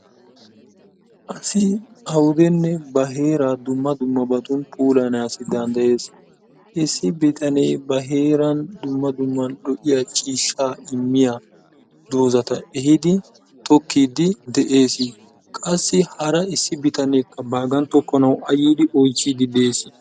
Asi awudenne ba heeraa dumma dummabatun puulayyana danddayees. Issi bitanee ba heeran dumma dumma lo''iyaa ciishsha immiyaa doozata ehidi tokkidi de'ees. qassi hara issi bitaneekka baagan tokkanaw a yiidi oychchide de'ees.